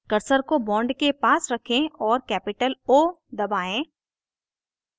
cursor को bond के पास रखें और capital o दबाएं